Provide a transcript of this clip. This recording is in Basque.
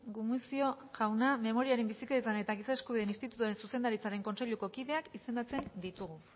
gumuzio jauna memoriaren bizikidetzaren eta giza eskubideen institutuaren zuzendaritza kontseiluko kideak izendatzen ditugu